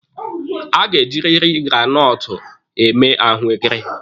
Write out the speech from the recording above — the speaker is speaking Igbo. A ga-ejiriri granọtụ eme ahụekere.